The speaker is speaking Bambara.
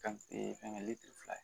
Kan fɛngɛ fila ye